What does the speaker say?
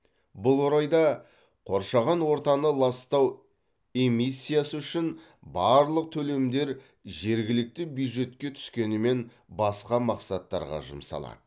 бұл орайда қоршаған ортаны ластау эмиссиясы үшін барлық төлемдер жергілікті бюджетке түскенімен басқа мақсаттарға жұмсалады